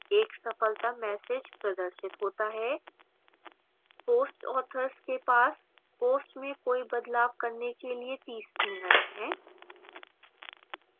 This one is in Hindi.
एक सफलता message प्रदर्शित होता है post authors के पास posts में कोई बदलाव करने के लिए 30 min हैं